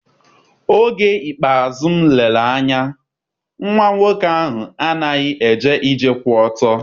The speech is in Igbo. Oge ikpeazụ m lere anya, nwa nwoke ahụ anaghị eje ije kwụ ọtọ.